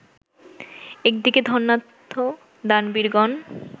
একদিকে ধনাঢ্য দানবীরগণ